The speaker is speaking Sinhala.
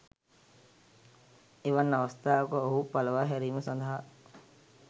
එවන් අවස්ථාවක ඔහු පලවා හැරීම සඳහා